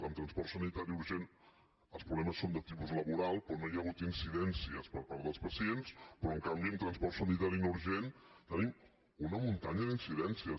en transport sanitari urgent els problemes són de tipus laboral però no hi ha hagut incidències per part dels pacients però en canvi en transport sanitari no urgent tenim una muntanya d’incidències